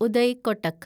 Uday Kotak